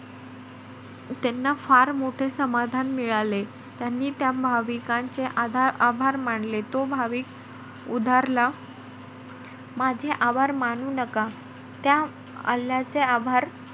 त्यांना फार मोठे समाधान मिळाले. त्यांनी त्या भाविकांचे आधा~ आभार मानले. तो भाविक उधारला. माझे आभार मानू नका त्या अल्लाचे आभार,